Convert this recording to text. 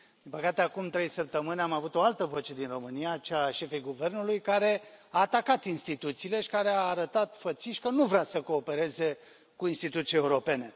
Din păcate, acum trei săptămâni am avut o altă voce din România, cea a șefei guvernului, care a atacat instituțiile și care a arătat fățiș că nu vrea să coopereze cu instituții europene.